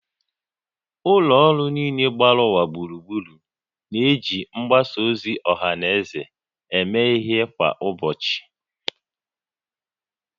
Ụlọ ọrụ niile gbara ụwa gburugburu na-eji mgbasa ozi ọha na eze eme ihe kwa ụbọchị